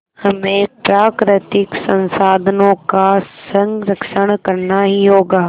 हमें प्राकृतिक संसाधनों का संरक्षण करना ही होगा